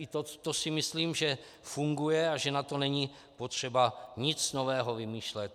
I to si myslím, že funguje a že na to není potřeba nic nového vymýšlet.